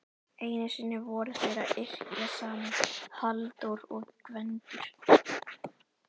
Einu sinni voru þeir að yrkja saman Halldór og Gvendur.